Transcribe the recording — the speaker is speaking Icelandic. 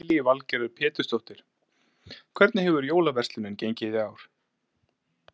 Lillý Valgerður Pétursdóttir: Hvernig hefur jólaverslunin gengið í ár?